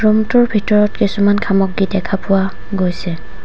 Room টোৰ ভিতৰত কিছুমান সামগ্ৰী দেখা পোৱা গৈছে।